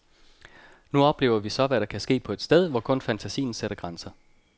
Nu oplever vi så, hvad der kan ske på et sted, hvor kun fantasien sætter grænser.